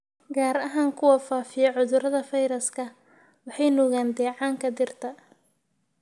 gaar ahaan kuwa faafiya cudurrada fayraska. Waxay nuugaan dheecaanka dhirta,